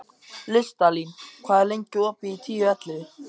Listalín, hvað er lengi opið í Tíu ellefu?